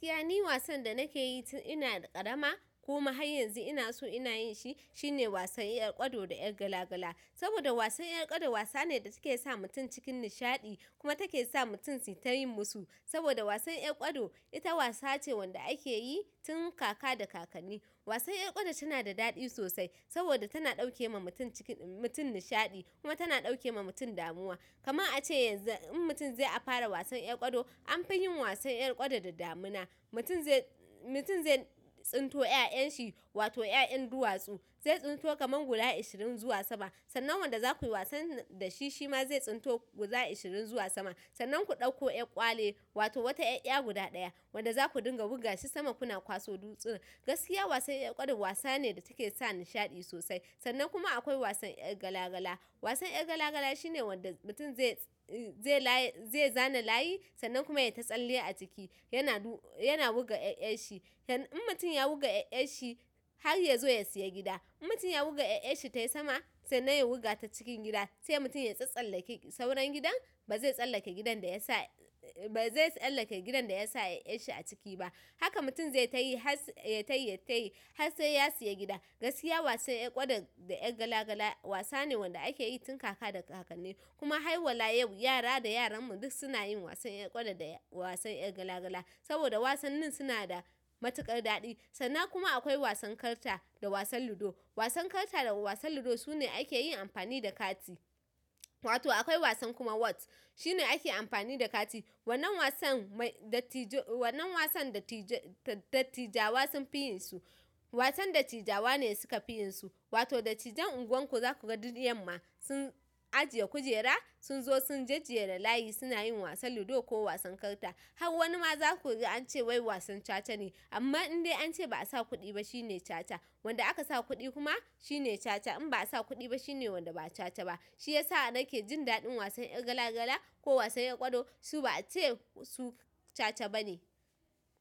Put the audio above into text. Gaskiya ni wasan da nake yi tun ina ƙarama kuma har yanzu ina so ina yin shi, shine wasan ƴar ƙwado da ƴar gala gala. Saboda wasan ƴar ƙwado wasa ne da take sa mutum cikin nishaɗi kuma take sa mutum sitayin musu. Saboda wasan ƴar ƙwado ita wasa ce wanda ake yi tun kaka da kakanni. Wasan ƴar ƙwado tana da daɗi sosai saboda tana ɗauke ma mutum cikin-- mutum nishaɗi kuma tana ɗauke ma mutum damuwa. Kaman a ce yanzu in mutum zai fara wasan ƴar ƙwado, an fi yin wasan ƴar ƙwado da damina. Mutum zai, mutum zai tsinto ƴaƴan shi wato ƴaƴan duwatsu. Zai tsinto kaman guda ishirin zuwa sama. Sannan wanda za ku yi wasan da shi, shi ma zai tsinto guda ashirin zuwa sama. Sannan ku ɗauko ƴar ƙwale wato wata 'yar 'ya guda ɗaya wanda za ku dinga wurga shi sama kuna kwaso dutsi nan. Gaskiya wasan ƴar ƙwado wasa ne da take sa nishaɗi sosai. Sannan kuma akwai wasan ƴar gala gala. Wasan ƴar gala gala shine wanda mutum zai, zai laye, zai zana layi sannan kuma ya yi ta tsalle a ciki. Yana du-- yana wuga ƴaƴan shi. In mutum ya wuga 'yar 'yar shi har ya zo ya siya gida. In mutum ya wuga 'yar'yar shi tai sama sannan ya wuga ta cikin gida, sai mutum ya tsatstsallake sauran gidan, ba zai tsallake gidan da ya sa, ba zai tsallake gidan da ya sa 'ya'yar shi a ciki ba. Haka mutum zai tayi tas yai tayi yai tayi has sai ya sayi gida. Gaskiya wasan ƴar ƙwado da ƴar gala gala wasa ne wanda ake yi tun kaka da kakanni. Kuma hai wala yau yara da yaran mu duk suna yin wasan ƴar ƙwado da wasan ƴar gala gala. Saboda wasannin suna da matuƙar daɗi. Sannan kuma akwai wasan karta da wasan ludo. Wasan karta da wasan ludo sune ake yin amfani da kati. Wato akwai wasan kuma what shine ake amfani da kati. Wannnan wasan mai dattijo, wannan wasan dattijo, dattijawa sun fi yin su. Wasan dattijawa ne suka fi yin su. Wato dattijan unguwar ku za ku ga duk yamma sun ajiye kujera, sun zo sun jajjera da layi suna yin wasan ludo ko wasan karta. Har wani ma za ku gi an ce wai wasan caca ne. Amma in dai an ce ba a sa kuɗi ba shi ne caca. Wanda aka sa kuɗi kuma shi ne caca. In ba a sa kuɗi ba shi ne wanda ba caca ba. Shi ya sa da nake jin daɗin wasan ƴar gala gala ko wasan ƴar ƙwado. Su ba a ce su sata ba ne.